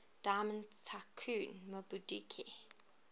diamond tycoon nwabudike